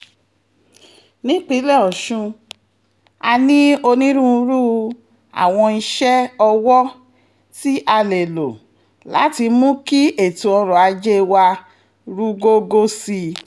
nípínlẹ̀ ọ̀sùn a ní onírúurú àwọn iṣẹ́-ọwọ́ tí a lè lò láti mú kí ètò ọrọ̀-ajé wa rúgógó sí i